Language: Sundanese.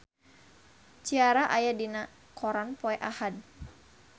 Ciara aya dina koran poe Ahad